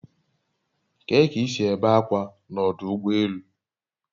Kee k'isi ebe akwa na odu ugbo elu?